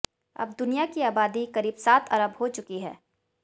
अब दुनिया की आबादी करीब सात अरब हो चुकी है